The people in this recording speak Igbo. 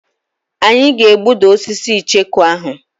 Anyị ga-egbuda osisi icheku ahụ.